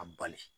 A bali